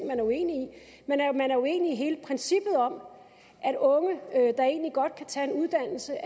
man er uenig i hele princippet om at unge der egentlig godt kan tage en uddannelse